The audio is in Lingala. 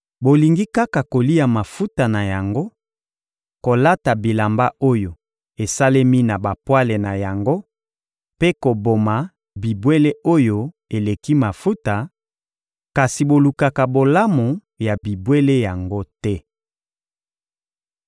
Bolingi kaka kolia mafuta na yango, kolata bilamba oyo esalemi na bapwale na yango mpe koboma bibwele oyo eleki mafuta, kasi bolukaka bolamu ya bibwele yango te!